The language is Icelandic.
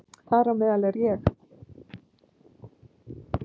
Þar á meðal er ég.